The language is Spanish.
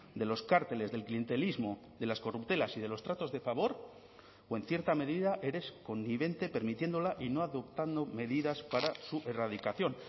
de los cárteles del clientelismo de las corruptelas y de los tratos de favor o en cierta medida eres connivente permitiéndola y no adoptando medidas para su erradicación